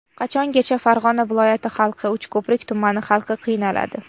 Qachongacha Farg‘ona viloyati xalqi, Uchko‘prik tumani xalqi qiynaladi?